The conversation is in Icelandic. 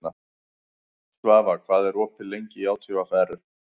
Svafa, hvað er opið lengi í ÁTVR?